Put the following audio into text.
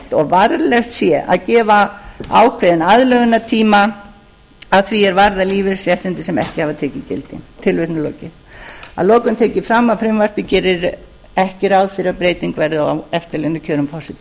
rétt og varlegt sé að gefa ákveðinn aðlögunartíma að því er varðar lífeyrisréttindi sem ekki hafa tekið gildi að lokum tek ég fram að frumvarpið gerir ekki ráð fyrir að breyting verði á eftirlaunakjörum forseta